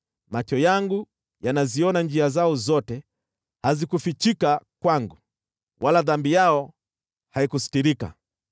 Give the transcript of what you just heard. Macho yangu yanaziona njia zao zote, hazikufichika kwangu, wala dhambi yao haikusitirika.